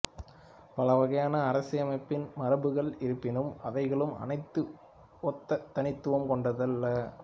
பல வகையான அரசின்மை மரபுகள் இருப்பினும் அவைகளுள் அனைத்தும் ஒத்த தனித்துவம் கொண்டதல்ல